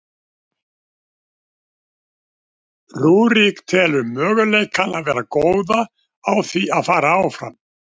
Rúrik telur möguleikana vera góða á því að fara áfram.